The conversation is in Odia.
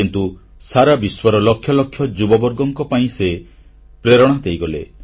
କିନ୍ତୁ ସାରାବିଶ୍ୱର ଲକ୍ଷ ଲକ୍ଷ ଯୁବବର୍ଗ ପାଇଁ ସେ ପ୍ରେରଣା ଦେଇଗଲେ